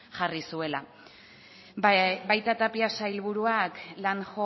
jarri zuela baita tapia sailburuak ere landhome